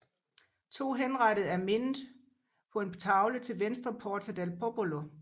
To henrettede er mindet på en tavle til venstre for Porta del Popolo